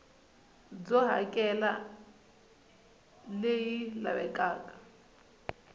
byo hakela r leyi lavekaka